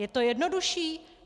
Je to jednodušší?